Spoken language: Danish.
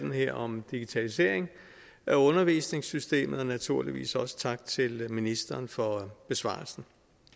her om digitalisering af undervisningssystemet og naturligvis også tak til ministeren for besvarelsen